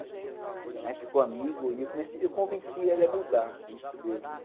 A gente ficou amigo e eu convencia ele a mudar isso dele, né?